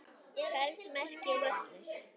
feld merkir völlur.